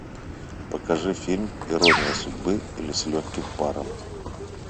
покажи фильм ирония судьбы или с легким паром